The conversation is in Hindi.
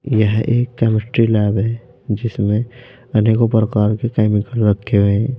यह एक केमिस्ट्री लैब है जिसमें अनेकों प्रकार के केमिकल रखे हुए हैं।